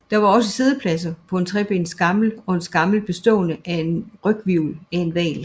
Der var også siddepladser på en trebenet skammel og en skammel bestående af en ryghvirvel af en hval